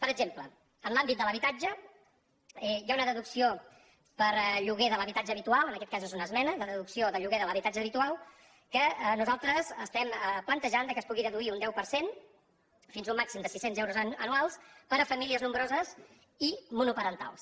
per exemple en l’àmbit de l’habitatge hi ha una deducció per lloguer de l’habitatge habitual en aquest cas és una esmena de deducció del lloguer de l’habitatge habitual que nosaltres estem plantejant que es pugui deduir un deu per cent fins a un màxim de sis cents euros anuals per a famílies nombroses i monoparentals